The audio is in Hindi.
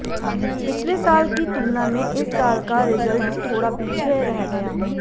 पिछले साल की तुलना में इस साल का रिजल्ट थोड़ा पीछे रह गया